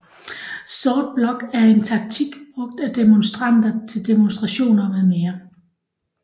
Sort Blok er en taktik brugt af demonstranter til demonstrationer mm